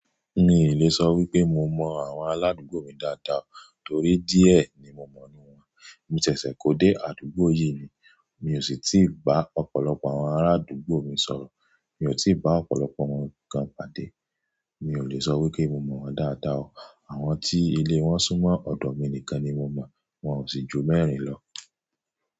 Mi ò lè sọ wípé mo mọ àwọn aládùúgbò mi dáadáa torí díẹ̀ ni mo mọ̀ ninu wọn. Mo ṣẹ̀ṣẹ̀ kó dé àdúgbò yìí ni, mi ò sì tíì bá ọ̀pọ̀lọpọ̀ àwọn arádùúgbò mi sọ̀rọ̀. Mi ò tí ì bá ọ̀pọ̀lọpọ̀ wọn kan pàdé. Mi ò lè sọ wípé mo mọ̀ wọ́n dáadáa o. Àwọn tí ilé wọn súnmọ́ ọ̀dọ̀ mi nìkan ni mo mọ̀, wọn ò sì ju mẹ́rin lọ.